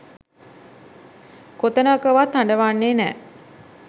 කොතැනකවත් හඬවන්නේ නෑ.